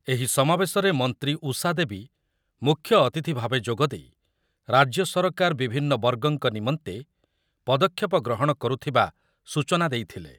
ଏହି ସମାବେଶରେ ମନ୍ତ୍ରୀ ଉଷା ଦେବୀ ମୁଖ୍ୟଅତିଥି ଭାବେ ଯୋଗଦେଇ ରାଜ୍ୟ ସରକାର ବିଭିନ୍ନ ବର୍ଗଙ୍କ ନିମନ୍ତେ ପଦକ୍ଷେପ ଗ୍ରହଣ କରୁଥିବା ସୂଚନା ଦେଇଥିଲେ ।